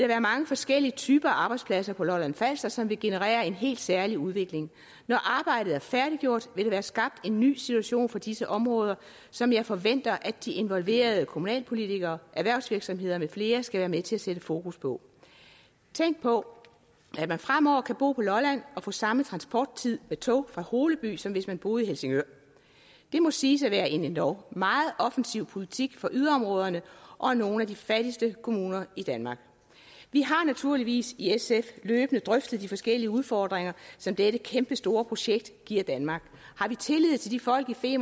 være mange forskellige typer af arbejdspladser på lolland falster som vil generere en helt særlig udvikling når arbejdet er færdiggjort vil der være skabt en ny situation for disse områder som jeg forventer at de involverede kommunalpolitikere erhvervsvirksomheder med flere skal være med til at sætte fokus på tænk på at man fremover kan bo på lolland og få samme transporttid med tog fra holeby som hvis man boede i helsingør det må siges at være en endog meget offensiv politik for yderområderne og nogle af de fattigste kommuner i danmark vi har naturligvis i sf løbende drøftet de forskellige udfordringer som dette kæmpestore projekt giver danmark har vi tillid til de folk i